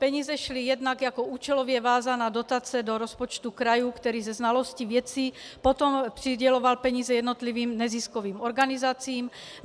Peníze šly jednak jako účelově vázaná dotace do rozpočtu kraje, který se znalostí věci potom přiděloval peníze jednotlivým neziskovým organizacím.